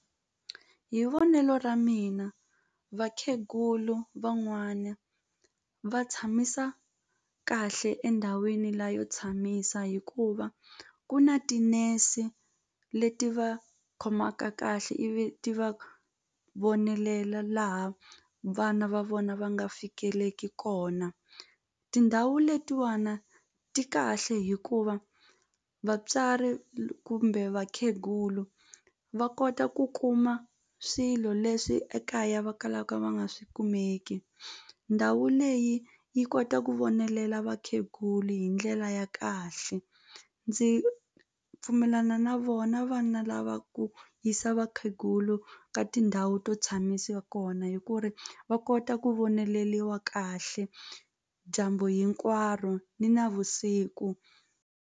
Hi vonelo ra mina vakhegulu van'wana va tshamisa kahle endhawini la yo tshamisa hikuva ku na tinese leti va khomaka kahle ivi ti va vonelela laha vana va vona va nga fikeleki kona tindhawu letiwana ti kahle hikuva vatswari kumbe vakhegulu va kota ku kuma swilo leswi ekaya va kalaka va nga swi kumeki ndhawu leyi yi kota ku vonelela vakheguli hi ndlela ya kahle ndzi pfumelana na vona vana lava ku yisa vakhegulu ka tindhawu to tshamisa kona hi ku ri va kota ku voneleliwa kahle dyambu hinkwaro ni navusiku.